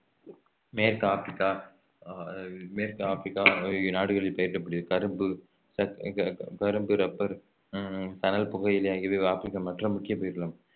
மேற்கு ஆப்ரிக்கா ஆஹ் மேற்கு ஆப்ரிக்கா ஆகிய நாடுகளில் பயிரிடப்படுகிறது கரும்பு கரும்பு ரப்பர் உம் சணல் புகையிலை ஆகியவை ஆப்ரிக்கா மற்ற முக்கிய பயிர்களாகும்